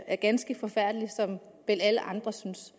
er ganske forfærdelig som vel alle andre synes